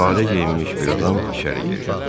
Sadə geyinmiş bir adam içəri girdi.